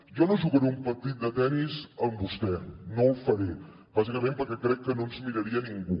jo no jugaré un partit de tennis amb vostè no ho faré bàsicament perquè crec que no ens miraria ningú